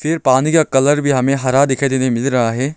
फिर पानी का कलर भी हमें हरा दिखाई देने मिल रहा है।